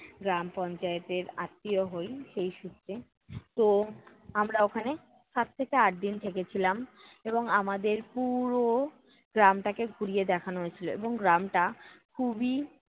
গ্রাম পঞ্চায়েতের আত্মীয় হই, সেই সূত্রে। তো আমরা ওখানে সাত থেকে আট দিন থেকেছিলাম এবং আমাদের পুরো গ্রামটাকে ঘুরিয়ে দেখানো হয়েছিল। এবং গ্রামটা খুবই